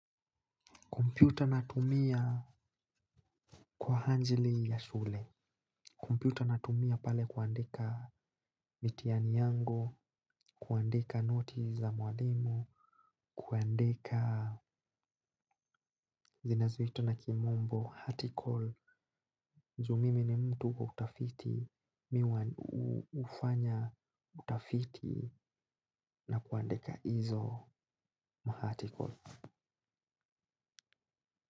Kompyuta natumia kwa hanjili ya shule. Kumpyuta natumia pale kuandika mitiani yangu, kuandika noti za mwalimu, kuandika zinazuita na kimombo, hati call. Nju mimi ni mtu wa utafiti, mi ufanya utafiti na kuandika hizo ma hati call.